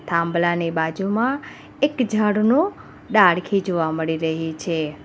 થાંભલા ની બાજુમાં એક ઝાડનો ડાળખી જોવા મળી રહે છે.